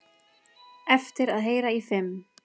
Eftir að heyra í fimm